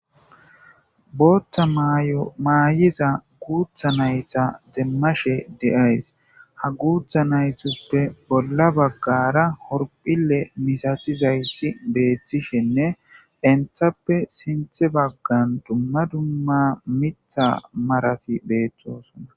Botha mayoo mayzza ha gutha nayiw demashe de77ays gutha nayeppe bolla bagarra horphille missatizzayssi de77ees entaffe sintha baggarra dumma dumma mitha marrati bettossona.